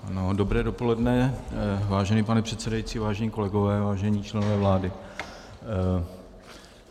Dobré dopoledne vážený pane předsedající, vážení kolegové, vážení členové vlády.